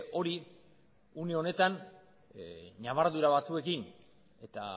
hori une honetan nabardura batzuekin eta